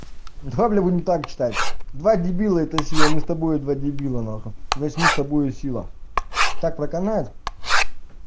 давай бля будем так читать два дебила это сила мы с тобою два дебила нахуй значит мы с тобою сила так проканает